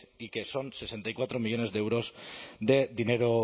y que son sesenta y cuatro millónes de euros de dinero